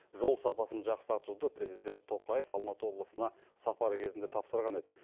жол сапасын жақсартуды президент тоқаев алматы облысына сапары кезінде тапсырған еді